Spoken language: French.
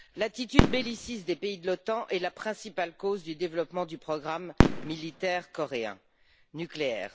L'attitude belliciste des pays de l'OTAN est la principale cause du développement du programme militaire coréen nucléaire.